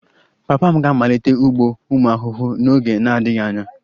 Papa m ga-amalite ugbo ụmụ ahụhụ n'oge na-adịghị anya